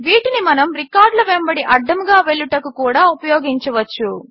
వీటిని మనము రికార్డుల వెంబడి అడ్డముగా వెళ్ళుటకు కూడా ఉపయోగించవచ్చు